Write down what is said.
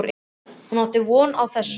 Hún átti ekki von á þessu.